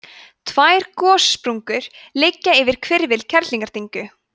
tvær gossprungur liggja yfir hvirfil kerlingardyngju